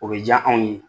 O bɛ diya anw ye